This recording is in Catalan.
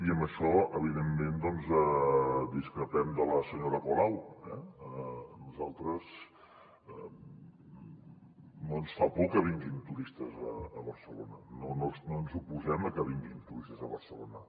i en això evi·dentment discrepem de la senyora colau eh a nosaltres no ens fa por que vinguin turistes a barcelona no ens oposem a que vinguin turistes a barcelona